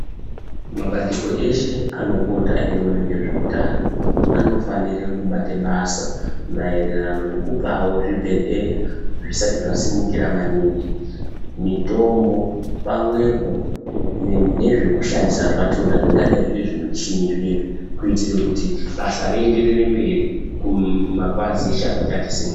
Mabandiko ese, anopota eyiwona ngezvewutano, anofanire kubate basa mayererano nekupawo zvibhedhleya zvisati zvasimukira maningi, mitombo pamwepo nezvekushandisa zvachona zvingadayi zvirizvimuchini zvinezvi, kuyitire kuti basa riyenderere mberi kumapazi .